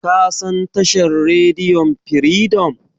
Ka san tashar rediyon Firidom?